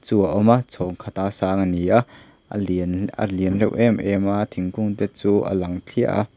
chu a awm a chhawng khata sang a ni a a lianin a lian reuh em em a thingkung te chu a lang thliah a.